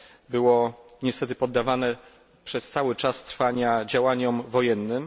było niestety poddawane przez cały czas trwania działaniom wojennym.